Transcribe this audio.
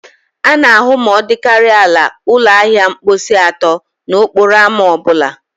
A na-ahụ ma ọ dịkarịa ala ụlọ ahịa ọkpụisi atọ n'okporo ámá ọ bụla